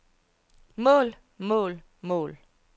mål mål mål